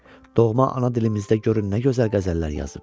Doğma ana dilimizdə görün nə gözəl qəzəllər yazıb.